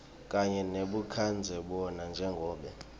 kanye nebukadzebona njengobe